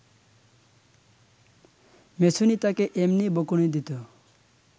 মেছুনী তাকে এমনি বকুনি দিত